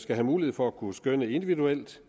skal have mulighed for at kunne skønne individuelt